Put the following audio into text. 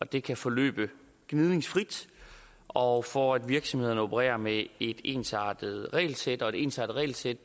det kan forløbe gnidningsfrit og for at virksomhederne kan operere med et ensartet regelsæt og et ensartet regelsæt